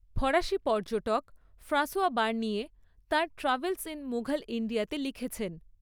ফরাসি পর্যটক François Bernier তাঁর ট্র্যাভেলস ইন মুঘল ইণ্ডিয়াতে লিখেছেন।